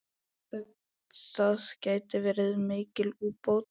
Það geti verið mikil búbót.